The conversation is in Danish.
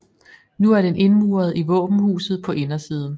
Nu er den indmuret i våbenhuset på indersiden